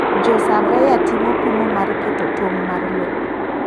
Jo saveya timo pimo mar keto tong mar loo.